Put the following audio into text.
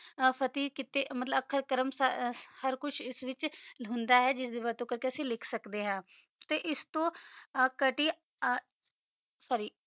ਫਟੀ ਕੀਤਾ ਆਖਰ ਕਾਮ ਸਾਰਾ ਕੁਛ ਅੰਦਾ ਵਾਤ੍ਚ ਹੋਂਦਾ ਜਿੰਦਾ ਕਰ ਕਾ ਅਸੀਂ ਲਿਖ ਸਕਦਾ ਆ ਆਸ ਤੋ ਕਾਤੀ ਸੋਰ੍ਰੀ